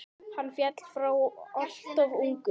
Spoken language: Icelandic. Hann féll frá alltof ungur.